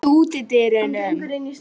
Húna, læstu útidyrunum.